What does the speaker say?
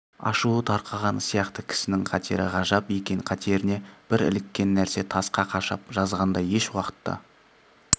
ашуы тарқаған сияқты кісінің қатері ғажап екен қатеріне бір іліккен нәрсе тасқа қашап жазғандай еш уақытта